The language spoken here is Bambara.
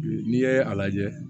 N'i ye a lajɛ